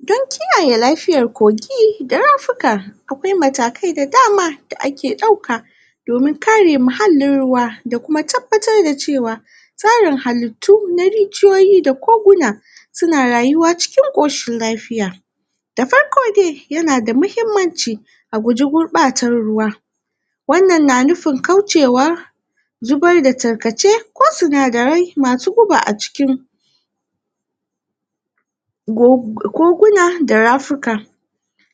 dan kiyaye lafiyan kogi da rafuka akwai matakar da dama da ake dauka domin kare muhallin ruwa da kuma tabbatar da cewa tarin halittu na rigiyoyi da koguna suna rayuwa cikin koshin lafiya da farko dai yana da mahimmanci a guji gurbatan ruwa wan nan na nufin kaucewa zubar da tarkace ko sunadarar masu guba a cikin koguna da rafika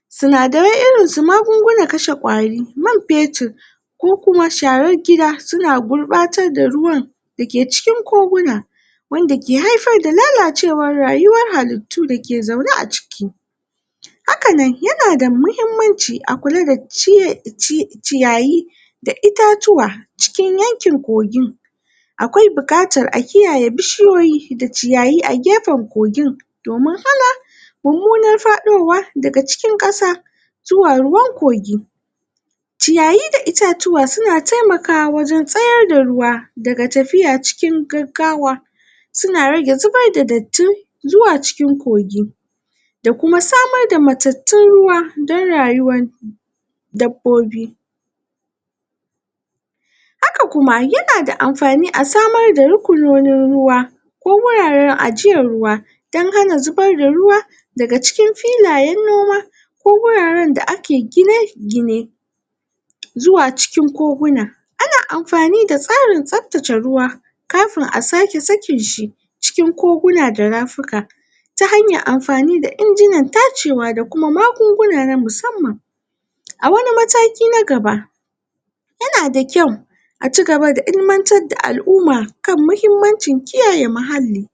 sinadarai irin su magungunan kashe kwari man metir ko kuma sharar gida suna gurfanan da ruwan da ke cikin koguna wanda ke haifar da lalacewar rayuwar halittu da ke zaune a ciki haka nan yanada mahimmanci a kula da ciye ciya ciyayi da itatuwa cikin yankin kogin akwai bukatan a kiyaye bushiyoyi da ciyayi a gefen kogin domin hana mummunan fadowa daga cikin kasa zuwa ruwan kogi ciyayi da itatuwa suna taimakwa wajen tsayar da ruwa da ga tafiya cikin gaggawa su na rage zubar da dattin zuwa wajen kogi da kuma samar da mattattun ruwa dan rayuwan dabbobi haka kuma yana da anfani a samar da rukunonin ruwa ko huraren ajiyan ruwan dan hana zubar da ruwa da ga cikin filayen noma ko huraren da ake gine-gine zuwa cikin koguna ana anfani da tsarin tsaftace ruwa kafin a sake sakin shi cikin koguna da rafika ta hanyan anfani da inginan tacewa da magunguna na musamaman a wani mataki na gaba yana da kyau aci gaba da ilmantar da al'umma kan muhimmanci kiyaye muhalli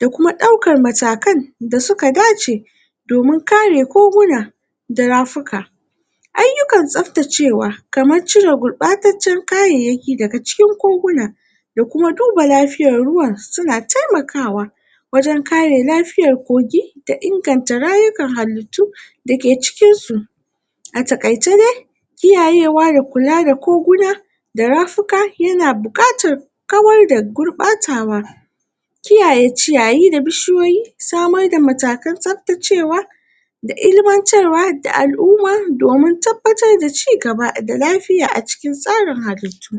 da kuma daukan matakan da suka dace domin kare koguna da rafika aiyukan tsaftacewa kaman cire kaman cire gurbacecen kayaiyaki daga cikin koguna da kuma duba lafiyan ruwan suna taimakawa wajen kare lafiyan kogi da inganta rayukan halittu da ke cikin su a takaice dai kiyayewa da kula da koguna da rafika yana bukatan kawar da gurbacewa kiyaye ciyayi da bishiyoyi samar da matatun tsabtacewa da ilimantarwa da alumma domin tabbatar da ci gaba, da lafiya a cikin tsarin halittu